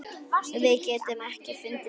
Við getum ekki fundið þig.